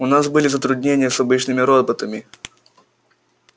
у нас были затруднения с обычными роботами